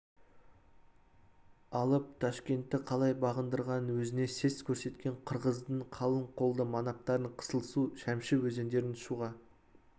алып ташкентті қалай бағындырғанын өзіне сес көрсеткен қырғыздың қалың қолды манаптарын қызылсу шәмсі өзендерінің шуға